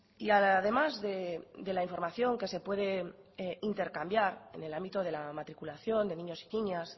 y además de la información que se puede intercambiar en el ámbito de la matriculación de niños y niñas